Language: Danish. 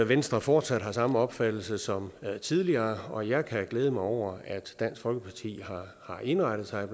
venstre fortsat har samme opfattelse som tidligere og jeg kan glæde mig over at dansk folkeparti har indrettet sig